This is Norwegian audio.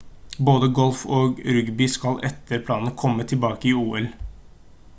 både golf og rugby skal etter planen komme tilbake til ol